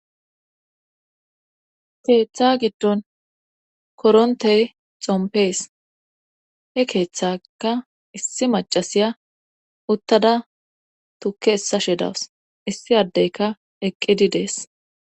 keeththa giddon korontey xompees he keeththaka issi macasiya uttada tukke essashe dawus issi addeyka eqqidi dees